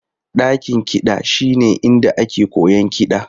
Dakin kiɗa shine inda ake koyon kiɗa.